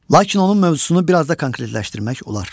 Lakin onun mövzusunu biraz da konkretləşdirmək olar.